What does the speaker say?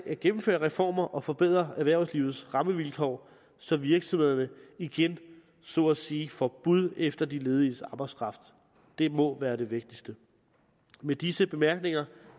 at gennemføre reformer og forbedre erhvervslivets rammevilkår så virksomhederne igen så at sige får bud efter de lediges arbejdskraft det må være det vigtigste med disse bemærkninger